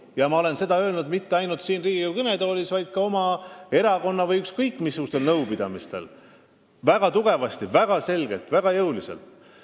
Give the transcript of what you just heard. Ja ma ei ole seda öelnud mitte ainult siin Riigikogu kõnetoolis, vaid ka oma erakonna või ükskõik missugustel nõupidamistel – väga tugevasti, väga selgelt ja väga jõuliselt!